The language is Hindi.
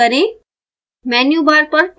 अब file सेव करें